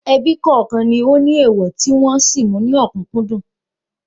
Ebí kọ̀ọ̀kan ní ó ní èèwọ̀ tí wọn sì mú ní òkúńdùn